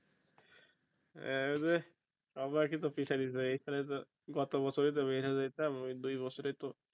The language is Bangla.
আরে এখানে তো গত বছরে তো এই খানে যাইতাম ওই দুই বছরে তো